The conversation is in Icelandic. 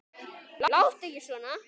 Láttu ekki svona!